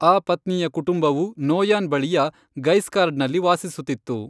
ಆ ಪತ್ನಿಯ ಕುಟುಂಬವು ನೋಯಾನ್ ಬಳಿಯ ಗೈಸ್ಕಾರ್ಡ್ನಲ್ಲಿ ವಾಸಿಸುತ್ತಿತ್ತು.